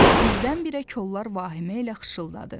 Birdən-birə kollar vahimə ilə xışıladadı.